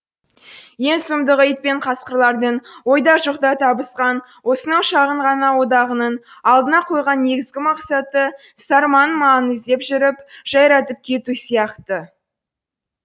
ең сұмдығы ит пен қасқырлардың ойда жоқта табысқан осынау шағын ғана одағының алдына қойған негізгі мақсаты сарманың малын іздеп жүріп жайратып кету сияқты